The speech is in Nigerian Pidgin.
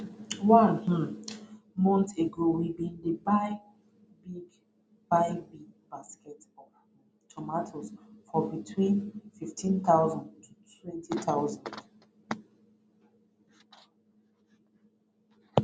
one um month ago we bin dey buy big buy big basket of um tomato for between 15000 to 20000